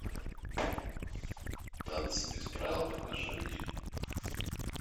танцы без правил покажи мне